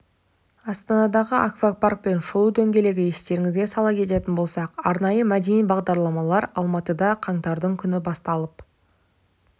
астанадағы аквапарк пен шолу дөңгелегі естеріңізге сала кететін болсақ арнайы мәдени бағдарламалар алматыда қаңтардың күні басталып